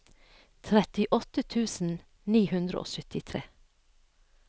trettiåtte tusen ni hundre og syttitre